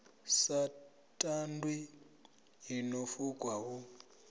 sa tandwi ḽino fukwa hu